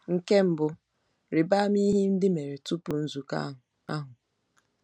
Nke mbụ, rịba ama ihe ndị mere tupu nzukọ ahụ. ahụ.